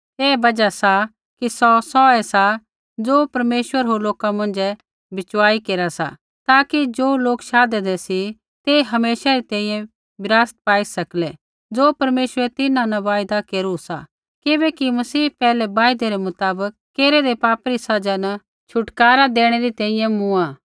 ऐही बजहा सा कि सौ सौऐ सा ज़ो परमेश्वर होर लोका मौंझ़ै बिचवाई केरा सा ताकि ज़ो लोक शाधेंदै सी तै हमेशा री तैंईंयैं विरासत पाई सकलै ज़ो परमेश्वरै तिन्हां न वायदा केरू सा किबैकि मसीह पैहलै वायदै रै मुताबक केरेदै पापा री सज़ा न छुटकारा देणै री तैंईंयैं मूँआ